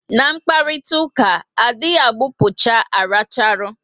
Na mkparitauka, a dị gbupucha racharu